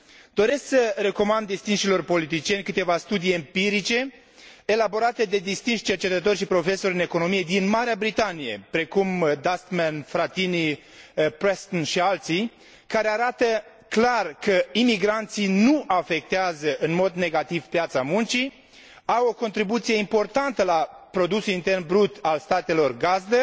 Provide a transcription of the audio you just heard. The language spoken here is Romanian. Doresc să recomand distinșilor politicieni câteva studii empirice, elaborate de distinși cercetători și profesori în economie din Marea Britanie, precum Dustman, Fratini, Preston și alții, care arată clar că imigranții nu afectează în mod negativ piața muncii, au o contribuție importantă la produsul intern brut al statelor gazdă